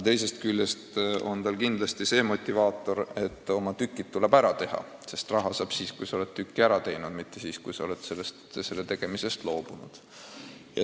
Ühest küljest on see motivaator, kuna oma tükid tuleb ära teha, sest raha saab siis, kui oled tüki ära teinud, mitte siis, kui oled selle tegemata jätnud.